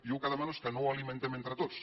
jo el que demano és que no ho alimentem entre tots